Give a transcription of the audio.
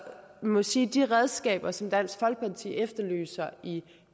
man må sige at de redskaber som dansk folkeparti efterlyser i